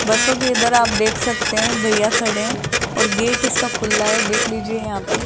बसों के इधर आप देख सकते हैं भैया खड़े हैं और गेट इसका खुला है देख लीजिए यहां पे।